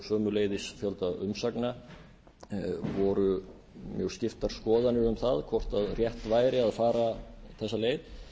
sömuleiðis fjölda umsagna voru mjög skiptar skoðanir um það hvort rétt væri að fara þessa leið